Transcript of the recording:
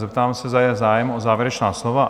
Zeptám se, zda je zájem o závěrečná slova?